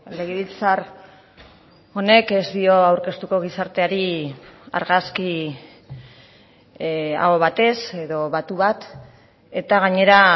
legebiltzar honek ez dio aurkeztuko gizarteari argazki aho batez edo batu bat eta gainera